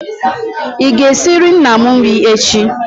ị ga-esiri nna m nri echi?